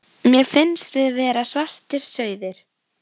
Mér fannst við vera svartir sauðir.